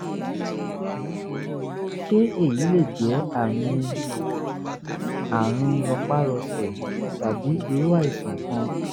ṣé èyí lè jẹ́ àmì um àrùn rọpárọsẹ̀ tàbí irú àìsàn kan?